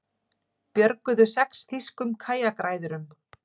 Björguðu sex þýskum kajakræðurum